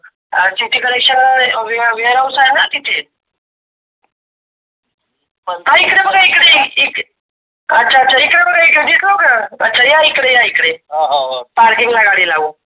हा city collection warehouse आहे ना तिथे. हा इकडे बघा इकड अच्छा अच्छा इकडे बघा इकडे दिसलो का अच्छा या इकडे या इकडे parking ला गाडी लावू.